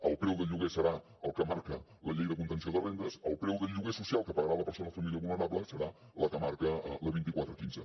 el preu del lloguer serà el que marca la llei de contenció de rendes el preu del lloguer social que pagarà la persona o família vulnerable serà el que marca la vint quatre quinze